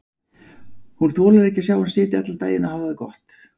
Hún þolir ekki að sjá hann sitja allan daginn og hafa það gott.